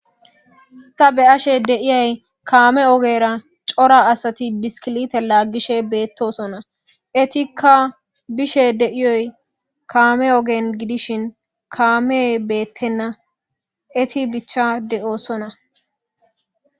Ta be'ashe dayis coora asati kame ogera bishikilite lagishe de'osona etika bishe de'oy kame oge gidishin kamey betena eti bicha de'osona